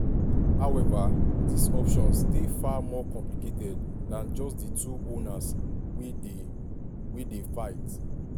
however dis options dey far more complicated dan just di two owners "wey dey "wey dey fight".